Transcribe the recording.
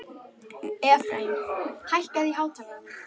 Efraím, hækkaðu í hátalaranum.